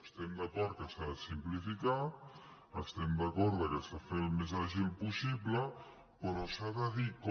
estem d’acord que s’ha de simplificar estem d’acord que s’ha de fer al més àgil possible però s’ha de dir com